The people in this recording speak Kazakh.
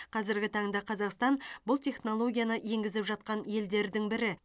қазіргі таңда қазақстан бұл технологияны енгізіп жатқан елдердің бірі